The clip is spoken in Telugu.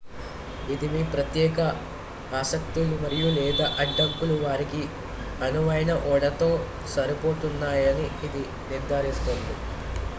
ఇది మీ ప్రత్యేక ఆసక్తులు మరియు/లేదా అడ్డంకులు వారికి అనువైన ఓడతో సరిపోలుతున్నాయని ఇది నిర్ధారిస్తుంది